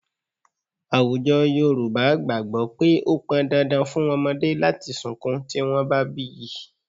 Àwùjọ Yorùbá gbàgbọ́ pé ó pọn dandan fún ọmọdé láti sunkún tí wọ́n bá bí í